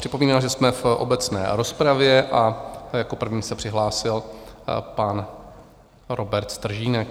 Připomínám, že jsme v obecné rozpravě, a jako první se přihlásil pan Robert Stržínek.